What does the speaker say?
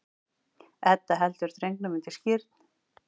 Edda heldur drengnum undir skírn.